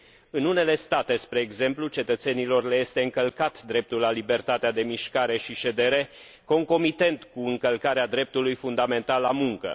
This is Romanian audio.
În unele state, spre exemplu, cetățenilor le este încălcat dreptul la libertatea de mișcare și ședere, concomitent cu încălcarea dreptului fundamental la muncă.